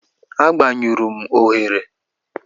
Agbanyụrụ m oghere.